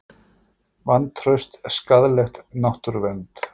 Vantraust skaðlegt náttúruvernd